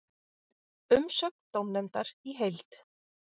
Umsögn dómnefndar í heild